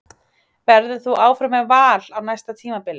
Verður þú áfram með Val á næsta tímabili?